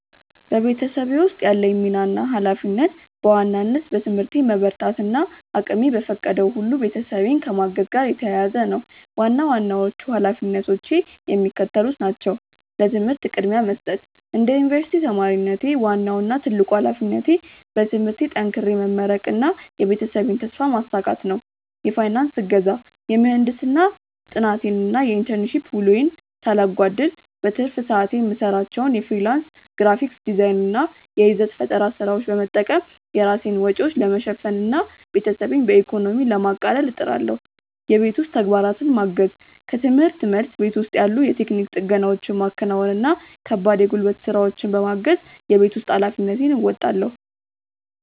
በቤተሰቤ ውስጥ ያለኝ ሚና እና ኃላፊነት በዋናነት በትምህርቴ መበርታት እና እቅሜ በፈቀደው ሁሉ ቤተሰቤን ከማገዝ ጋር የተያያዘ ነው። ዋና ዋናዎቹ ኃላፊነቶቼ የሚከተሉት ናቸው፦ ለትምህርት ቅድሚያ መስጠት፦ እንደ ዩኒቨርሲቲ ተማሪነቴ፣ ዋናው እና ትልቁ ኃላፊነቴ በትምህርቴ ጠንክሬ መመረቅና የቤተሰቤን ተስፋ ማሳካት ነው። የፋይናንስ እገዛ፦ የምህንድስና ጥናቴን እና የኢንተርንሺፕ ውሎዬን ሳላጓድል፣ በትርፍ ሰዓቴ የምሰራቸውን የፍሪላንስ ግራፊክ ዲዛይን እና የይዘት ፈጠራ ስራዎች በመጠቀም የራሴን ወጪዎች ለመሸፈን እና ቤተሰቤን በኢኮኖሚ ለማቃለል እጥራለሁ። የቤት ውስጥ ተግባራትን ማገዝ፦ ከርምህርት መልስ፣ ቤት ውስጥ ያሉ የቴክኒክ ጥገናዎችን ማከናወን እና ከባድ የጉልበት ስራዎችን በማገዝ የቤት ውስጥ ኃላፊነቴን እወጣለሁ።